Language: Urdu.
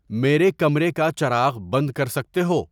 میرے کمرے کا چراغ بند کر سکتے ہو؟